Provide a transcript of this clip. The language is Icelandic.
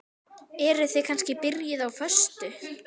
Eruð þið kannski byrjuð á föstu?